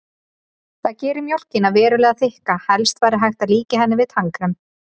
Það gerir mjólkina verulega þykka, helst væri hægt að líkja henni við tannkrem.